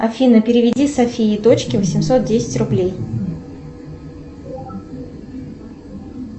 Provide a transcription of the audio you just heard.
афина переведи софии дочке восемьсот десять рублей